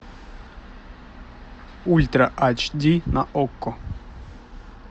ультра айч ди на окко